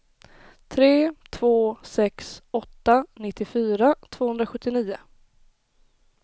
tre två sex åtta nittiofyra tvåhundrasjuttionio